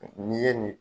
N'i ye nin